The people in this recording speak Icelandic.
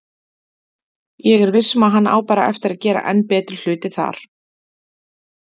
Ég viss um að hann á bara eftir að gera enn betri hluti þar.